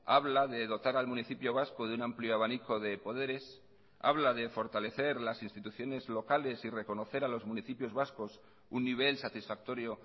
habla de dotar al municipio vasco de un amplio abanico de poderes habla de fortalecer las instituciones locales y reconocer a los municipios vascos un nivel satisfactorio